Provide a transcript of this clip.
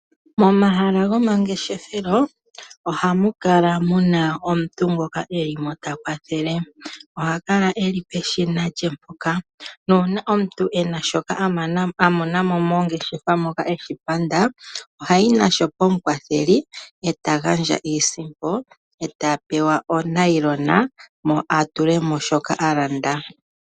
Momahala gomangeshefelo ohamu kala muna omuntu ngoka e limo ta kwathele, oha kala eli peshina lye mpoka, nuuna omuntu e na shoka a mona mo mongeshefa moka, eshi panda, ohayi nasho pomukwatheli, e ta gaiisimpo, e ta pewa onayilona, mo a tule mo shoka a landa.